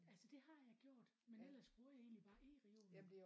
Altså det har jeg gjort men ellers bruger jeg egentlig bare eReolen